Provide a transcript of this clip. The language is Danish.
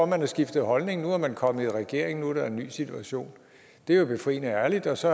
man har skiftet holdning nu er man kommet i regering og nu er der en ny situation det er jo befriende ærligt og så